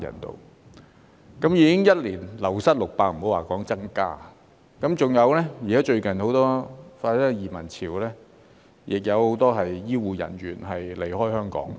一年已經流失600人，更不用說增加，而最近的移民潮亦令很多醫護人員離開香港。